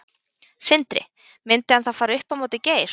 Sindri: Myndi hann þá fara upp á móti Geir?